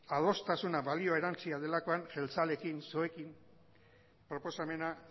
adostasuna balio erantzia delakoan jeltzaleekin psoerekin proposamena